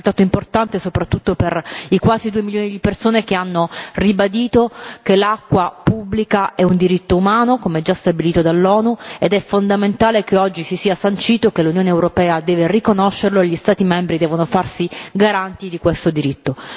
Un risultato importante soprattutto per i quasi due milioni di persone che hanno ribadito che l'acqua pubblica è un diritto umano, come già stabilito dall'ONU ed è fondamentale che oggi si sia sancito che l'Unione europea deve riconoscerlo e gli Stati devono farsi garanti di questo diritto.